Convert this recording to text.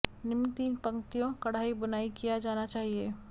निम्न तीन पंक्तियों कढ़ाई बुनाई किया जाना चाहिए